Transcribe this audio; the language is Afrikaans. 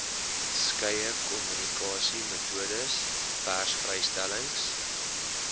skeie kommunikasiemetodes persvrystellings